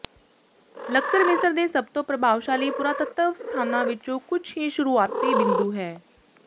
Luxor ਮਿਸਰ ਦੇ ਸਭ ਤੋਂ ਪ੍ਰਭਾਵਸ਼ਾਲੀ ਪੁਰਾਤੱਤਵ ਸਥਾਨਾਂ ਵਿੱਚੋਂ ਕੁਝ ਦਾ ਸ਼ੁਰੂਆਤੀ ਬਿੰਦੂ ਹੈ